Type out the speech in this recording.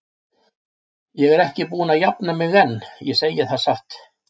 Ég er ekki búin að jafna mig enn, ég segi það satt.